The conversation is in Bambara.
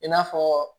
I n'a fɔ